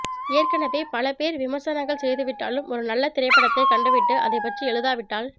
ஏற்கனவே பல பேர் விமர்சனங்கள் செய்துவிட்டாலும் ஒரு நல்ல திரைப்படத்தை கண்டுவிட்டு அதைப் பற்றி எழுதாவிட்டால்